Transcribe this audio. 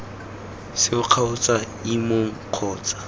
seo kgotsa ii mong kgotsa